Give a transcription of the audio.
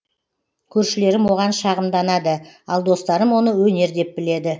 көршілерім оған шағымданады ал достарым оны өнер деп біледі